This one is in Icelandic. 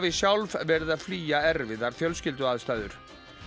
sjálf verið að flýja erfiðar fjölskylduaðstæður